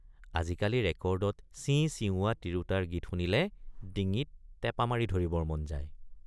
আজিকালি ৰেকৰ্ডত চিঁচিঁওৱা তিৰোতাৰ গীত শুনিলে ডিঙিত টেপা মাৰি ধৰিবৰ মন যায়।